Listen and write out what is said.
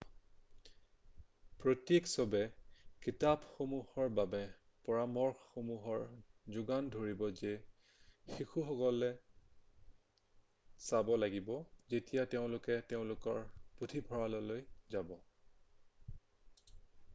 প্ৰত্যেক শ্ব'য়ে কিতাপসমূহৰ বাবে পৰামৰ্শসমূহৰ যোগান ধৰিব যি শিশুসকলে চাব লাগিব যেতিয়া তেওঁলোকে তেওঁলোকৰ পুথিভঁৰাললৈ যাব৷